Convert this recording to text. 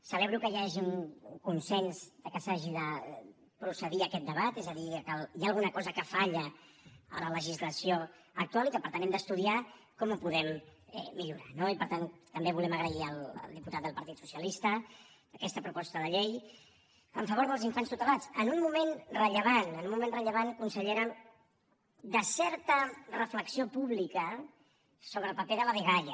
celebro que hi hagi un consens i que s’hagi de procedir a aquest debat és a dir que hi ha alguna cosa que falla a la legislació actual i que per tant hem d’estudiar com ho podem millorar no i per tant també volem agrair al diputat del partit socialista aquesta proposta de llei en favor dels infants tutelats en un moment rellevant en un moment rellevant consellera de certa reflexió pública sobre el paper de la dgaia